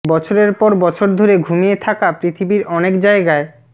বছরের পর বছর ধরে ঘুমিয়ে থাকা পৃথিবীর অনেক জায়গায়